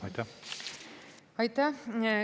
Aitäh!